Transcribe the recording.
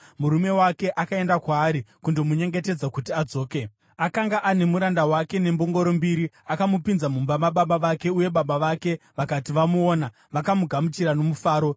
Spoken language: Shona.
murume wake akaenda kwaari kundomunyengetedza kuti adzoke. Akanga ane muranda wake nembongoro mbiri. Akamupinza mumba mababa vake, uye baba vake vakati vamuona, vakamugamuchira nomufaro.